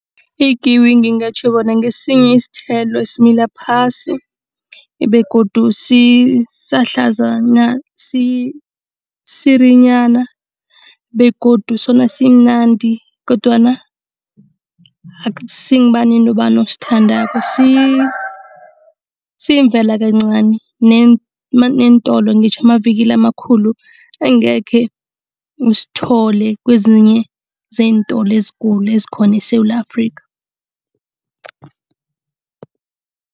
Ikiwi ngingatjho bona ngesinye isithelo esimila phasi begodu sisirinyana begodu sona simnandi kodwana akusingubani nobani osithandako. Siyivela kancani neentolo, ngitjho amavikili amakhulu angekhe usithole kwezinye zeentolo ezikulu ezikhona eSewula Afrikha.